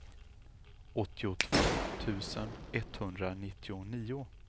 åttiotvå tusen etthundranittionio